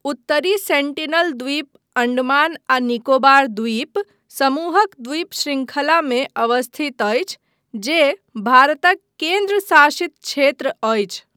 उत्तरी सेन्टिनल द्वीप अण्डमान आ निकोबार द्वीप समूहक द्वीप शृंखलामे अवस्थित अछि जे भारतक केन्द्र शासित क्षेत्र अछि।